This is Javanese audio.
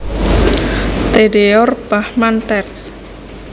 Theodore Bachmann terj